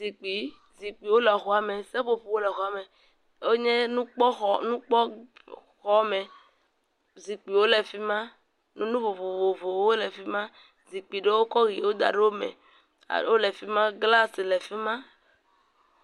Zikpui. Zikpuiwo le xɔa me. Seƒoƒowo le xɔa me wonye nukpɔxɔ, nukpɔxɔme. Zikpuiwo le fi ma. Nu vovovowo le fi ma. Zipkui ɖewo kɔ ʋiwo da ɖe eme wole fi ma, glasi le fi ma.